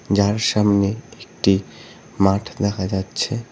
যার সামনে একটি মাঠ দেখা যাচ্ছে।